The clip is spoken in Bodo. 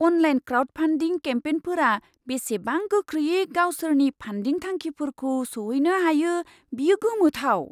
अनलाइन क्राउडफान्डिं केम्पेनफोरा बेसेबां गोख्रैयै गावसोरनि फान्डिं थांखिफोरखौ सौहैनो हायो बेयो गोमोथाव।